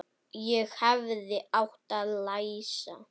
Ég hefði átt að læsa.